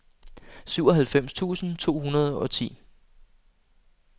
syvoghalvfems tusind to hundrede og ti